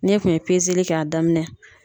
N'e kun ye pezeli kɛ a daminɛ